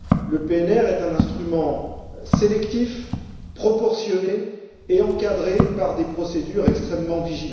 Le PNR est un instrument sélectif, proportionné et encadré par des procédures extrêmement strictes.